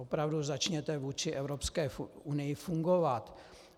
Opravdu, začněte vůči Evropské unii fungovat.